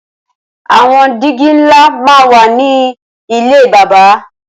Awọn dìgí nlá mà n wà nilé bàbà